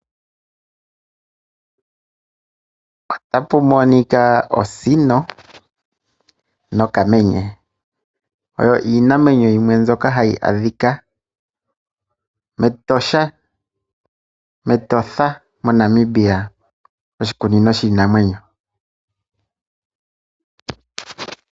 Osino nokamenye oyo iinamwenyo yimwe mbyoka hayi adhika mEtosha, metotha moshikunino shiinamwenyo.